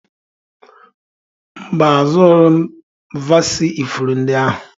Mba, azụrụghị m vasii ifuru ndị ahụ